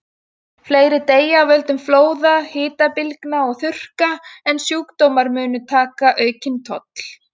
Fleiri deyja af völdum flóða, hitabylgna og þurrka, og sjúkdómar munu taka aukinn toll.